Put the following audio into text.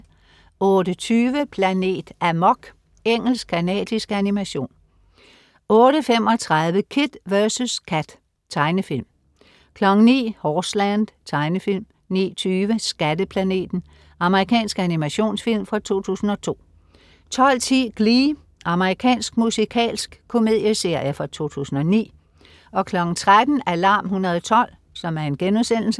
08.20 Planet Amok. Engelsk-canadisk animation 08.35 Kid vs Kat. Tegnefilm 09.00 Horseland. Tegnefilm 09.20 Skatteplaneten. Amerikansk animationsfilm fra 2002 12.10 Glee. Amerikansk musikalsk komedieserie fra 2009 13.00 Alarm 112*